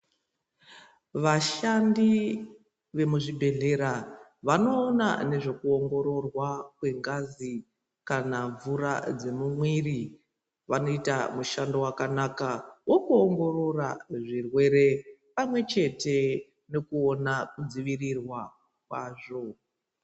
Vashandi vemuzvibhedhlera vanoona nezvekuongorwa kwengazi kana mvura dzemumwiri vanoita mushando wakanaka wokuongorora zvirwre pamwechete nekuona nekudzivirirwa kwazvo.